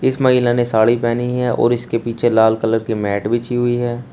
इस महिला ने साड़ी पहनी है और इसके पीछे लाल कलर की मैट बिछी हुई है।